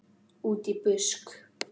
Útí busk.